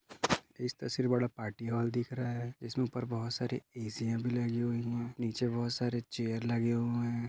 इस तसवीर बडा पार्टी हॉल दिख रहा है इसमे उपर बहुत सारे एसीया भी लगी हुए है नीचे बहुत सारे चेअर लगे हुए है।